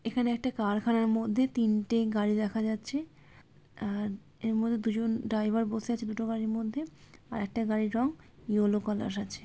এখানে একটা কারখানার মধ্যে তিনটে গাড়ি দেখা যাচ্ছে আর এর মধ্যে দুজন ড্রাইভার বসে আছে দুটো গাড়ির মধ্যে আর একটা গাড়ি রং ইয়েলো কালার আছে।